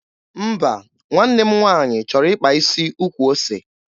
Mba, nwanne m nwaanyị chọrọ ịkpa isi ukwu ose.